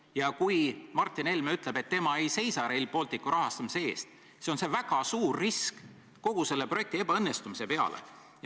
Ja kui Martin Helme ütleb, et tema ei seisa Rail Balticu rahastamise eest, siis on see väga suur risk kogu selle projekti õnnestumise seisukohast.